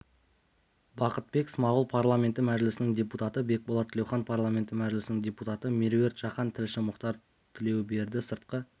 бақытбек смағұл парламенті мәжілісінің депутаты бекболат тілеухан парламенті мәжілісінің депутаты меруерт жақан тілші мұхтар тілеуберді сыртқы